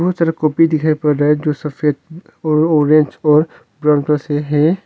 बहुत सारा कॉपी दिखाई पड़ रहा है जो सफेद और ऑरेंज और ब्राउन कलर से है।